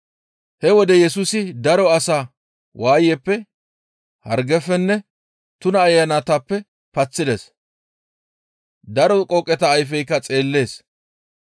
He wode Yesusi daro asaa waayeppe, hargefenne tuna ayanatappe paththides. Daro qooqeta ayfeykka xeellides.